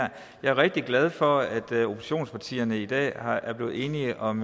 her jeg er rigtig glad for at oppositionspartierne i dag er blevet enige om